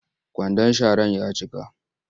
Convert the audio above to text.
Kwandon sharar ya cika